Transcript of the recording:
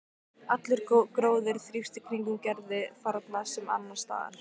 Allur gróður þrífst í kringum Gerði þarna sem annars staðar.